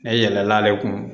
E yɛlɛl'ale kun